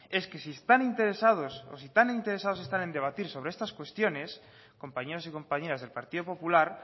es que si están interesados o si están interesados en debatir sobre estas cuestiones compañeros y compañeras del partido popular